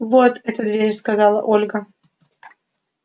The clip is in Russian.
вот эта дверь сказала ольга